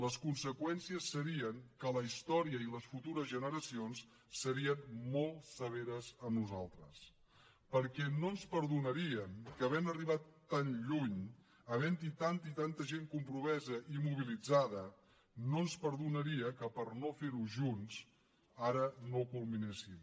les conseqüències serien que la història i les futures generacions serien molt severes amb nosaltres perquè no ens perdonarien que havent arribat tan lluny havent hi tanta i tanta gent compromesa i mobilitzada per no fer ho junts ara no ho culminéssim